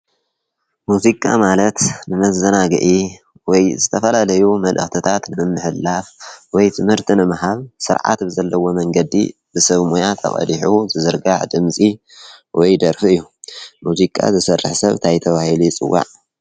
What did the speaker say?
ሙዚቃ ማለት ንመዘናጊዒ ወይ ዝተፈላለዩ መልእክትታት ንምምሕልላፍ ወይ ትምህርቲ ንምሃብ ስርዓት ብዘለዎ መንገዲ ሰብ ሞያ ተቐዲሑ ዝዝርጋሕ ድምፂ ወይ ደርፊ እዩ፡፡ ሙዚቃ ዝሰርሕ ሰብ እንታይ ተባሂሉ ይፅዋዕ?